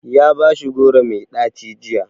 Ya bashi goro mai ɗaci jiya.